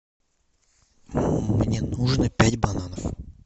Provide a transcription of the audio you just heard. мне нужно пять бананов